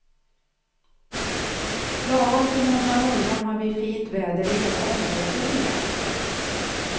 Lagom till måndag morgon har vi fint väder i hela området igen.